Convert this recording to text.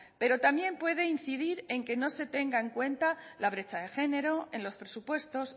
pero también puede incidir en que no se tenga en cuenta la brecha de género en los presupuestos